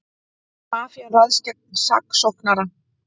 Mafían ræðst gegn saksóknara